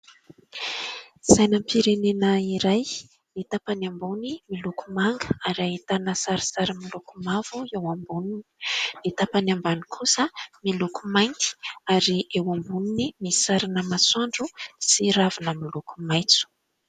Sainam-pirenena iray. Ny tapany ambony miloko manga ary ahitana sarisary miloko mavo eo amboniny, ny tapany ambany kosa miloko mainty ary eo amboniny misy sarina masoandro sy ravina miloko maitso.